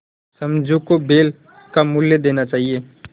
समझू को बैल का मूल्य देना चाहिए